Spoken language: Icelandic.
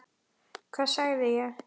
Hvað sagði ég??